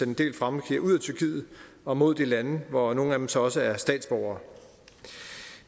en del fremmedkrigere ud af tyrkiet og mod de lande hvor nogle af dem så også er statsborgere